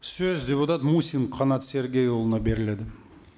сөз депутат мусин қанат сергейұлына беріледі